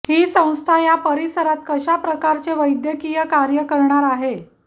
ही संस्था या परिसरात कशा प्रकारचे वैद्यकिय कार्य करणार आहे